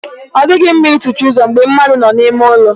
Ọ dịghị mma ị tụchi ụzọ mgbe mmadụ nọ n'ime ụlọ.